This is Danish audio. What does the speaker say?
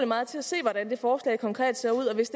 meget til at se hvordan det forslag konkret ser ud og hvis